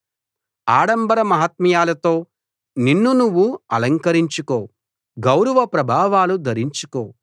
ఆడంబర మహాత్మ్యాలతో నిన్ను నువ్వు అలంకరించుకో గౌరవప్రభావాలు ధరించుకో